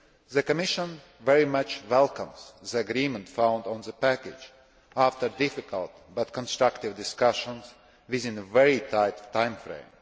The Commission very much welcomes the agreement found on the package, after difficult but constructive discussions, within a very tight timeframe.